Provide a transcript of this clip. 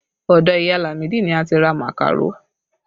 Ọdọ ìyá Lamide ni a ti ra màkàró